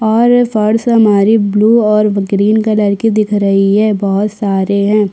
और सारी सामग्री ग्रीन और ब्लू कलर की दिख रही है बहुत सारे हैं।